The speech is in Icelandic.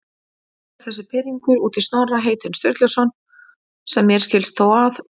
Eða þessi pirringur út í Snorra heitinn Sturluson, sem mér skilst þó að